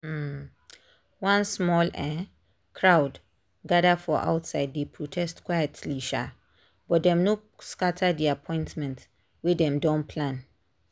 um one small um crowd gather for outside dey protest quietly um but dem no scatter the appointments wey dem don plan.